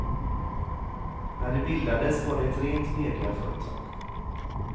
När det bildades var det ett rent mediaföretag.